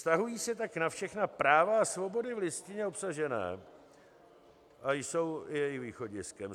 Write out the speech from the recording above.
Vztahují se tak na všechna práva a svobody v Listině obsažené a jsou i jejich východiskem.